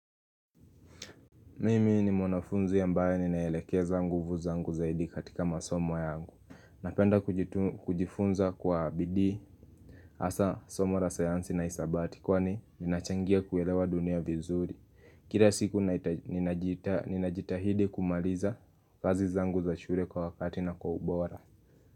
Mimi ni mwanafunzi ambaye ninaelekeza nguvu zangu zaidi katika masomo yangu Napenda kujifunza kwa bidii Asa somo la sayansi na hisabati kwani ninachangia kuelewa dunia vizuri Kila siku ninajita ninajitahidi kumaliza kazi zangu za shure kwa wakati na kwa ubora.